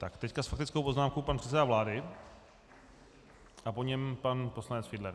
Tak, teď s faktickou poznámkou pan předseda vlády a po něm pan poslanec Fiedler.